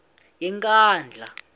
yenkandla